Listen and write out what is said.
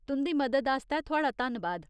तुं'दी मदद आस्तै थुआढ़ा धन्नबाद।